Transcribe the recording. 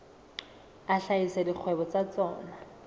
a hlahisa dikgwebo tsa tsona